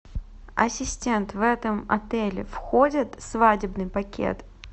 ассистент в этом отеле входит свадебный пакет